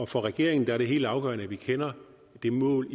for regeringen er det helt afgørende at vi kender det mål